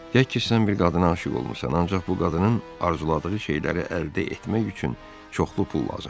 Deyək ki, sən bir qadına aşiq olmusan, ancaq bu qadının arzuladığı şeyləri əldə etmək üçün çoxlu pul lazımdır.